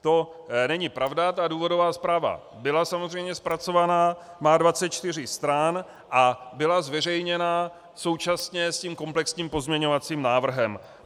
To není pravda, ta důvodová zpráva byla samozřejmě zpracovaná, má 24 stran a byla zveřejněna současně s tím komplexním pozměňovacím návrhem.